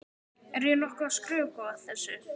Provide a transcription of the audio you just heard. Er ég nokkuð að skrökva þessu?